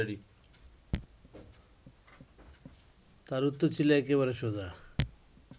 তার উত্তর ছিল একেবারে সোজা